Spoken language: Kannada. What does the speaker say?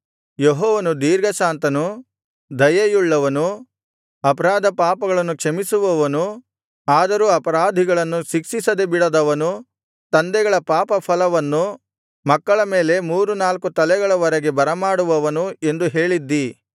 ಯೆಹೋವನು ದೀರ್ಘಶಾಂತನು ದಯೆಯುಳ್ಳವನು ಅಪರಾಧ ಪಾಪಗಳನ್ನು ಕ್ಷಮಿಸುವವನು ಆದರೂ ಅಪರಾಧಿಗಳನ್ನು ಶಿಕ್ಷಿಸದೆ ಬಿಡದವನು ತಂದೆಗಳ ಪಾಪಫಲವನ್ನು ಮಕ್ಕಳ ಮೇಲೆ ಮೂರು ನಾಲ್ಕು ತಲೆಗಳವರೆಗೆ ಬರಮಾಡುವವನು ಎಂದು ಹೇಳಿದ್ದಿ